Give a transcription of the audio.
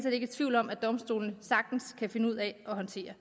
ikke i tvivl om at domstolene sagtens kan finde ud af at håndtere